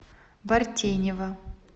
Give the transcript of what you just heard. бартенева